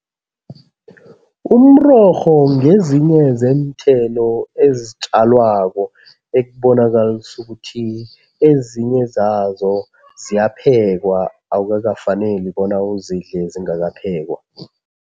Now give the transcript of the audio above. Umrorho ngezinye zeenthelo ezitjalwako ekubonakalisa ukuthi ezinye zazo ziyaphekwa, awukakafaneli bona uzidle zingakaphekwa.